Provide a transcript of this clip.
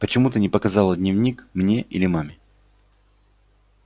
почему ты не показала дневник мне или маме